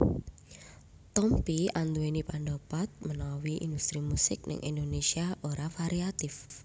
Tompi anduweni pandapat menawa industri musik ning Indonésia ora variatif